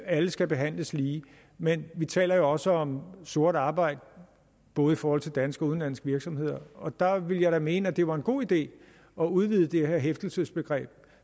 alle skal behandles lige men vi taler jo også om sort arbejde både for danske og udenlandske virksomheder og der ville jeg da mene at det var en god idé at udvide det her hæftelsesbegreb